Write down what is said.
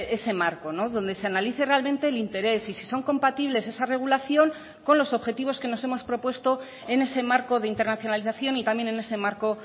ese marco donde se analice realmente el interés y si son compatibles esa regulación con los objetivos que nos hemos propuesto en ese marco de internacionalización y también en ese marco